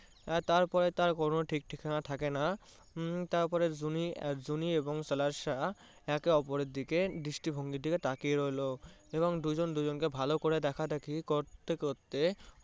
আর তারপরে তার কোনো ঠিকঠিকানা থাকে না। হম তারপরে জুন~ জুনি এবং সাহেব েকে ওপরের দৃষ্টিভঙ্গির দিকে তাকিয়ে রইলো এবং দুজন দুজনকে ভালো করে দেখা দেখি করতে করতে